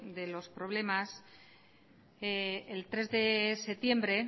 de los problemas el tres de septiembre